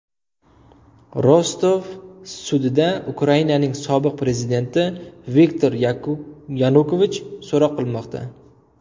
Rostov sudida Ukrainaning sobiq prezidenti Viktor Yanukovich so‘roq qilinmoqda.